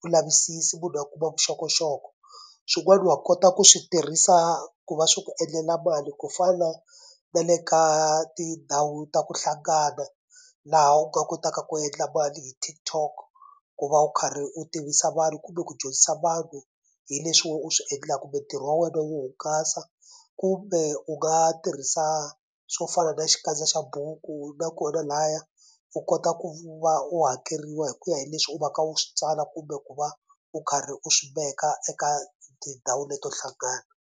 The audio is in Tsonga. vulavisisi munhu a kuma vuxokoxoko swin'wani wa kota ku swi tirhisa ku va swi ku endlela mali ku fana na le ka tindhawu ta ku hlangana laha u nga kotaka ku endla mali hi TikTok ku va u karhi u tivisa vanhu kumbe ku dyondzisa vanhu hi leswi we u swi endla kumbe ntirho wa wena wo hungasa kumbe u nga tirhisa swo fana na xikandza xa buku nakona lahaya u kota ku va u hakeriwa hi ku ya hi leswi u va ka u swi tsala kumbe ku va u karhi u swi veka eka tindhawu leto hlangana.